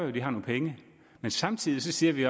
at de har nogle penge men samtidig siger vi